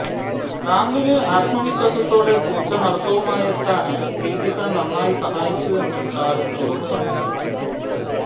റാംപില് ആത്മവിശ്വാസത്തോടെ പൂച്ചനടത്തവുമായെത്താന് ദീപിക നന്നായി സഹായിച്ചുവെന്നും ഷാരൂഖ് തുറന്നു സമ്മതിച്ചിട്ടുണ്ട്